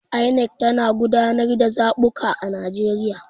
INEC tana gudanar da zabuka a Najeriya.